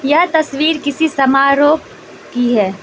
यह तस्वीर किसी समारोह की है।